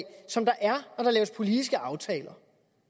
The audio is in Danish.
der er når der laves politiske aftaler